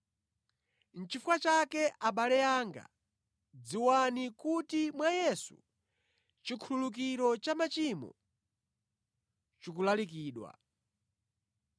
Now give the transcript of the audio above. “Nʼchifukwa chake, abale anga, dziwani kuti mwa Yesu chikhululukiro cha machimo chikulalikidwa.